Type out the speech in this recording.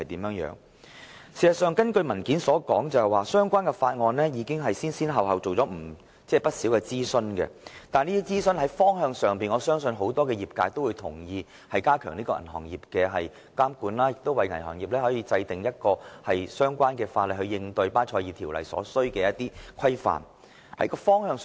據資料摘要所述，當局已就《條例草案》進行不少諮詢，我相信業界人士皆同意有關方向，即加強對銀行業的監管，以及為銀行業制定相關法例，以應對巴塞爾銀行監管委員會的新標準。